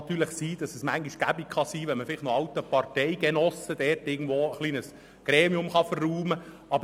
Manchmal mag es praktisch erscheinen, wenn man einen alten Parteigenossen noch in irgendeinem Gremium unterbringen kann.